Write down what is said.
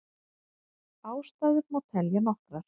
Ástæður má telja nokkrar.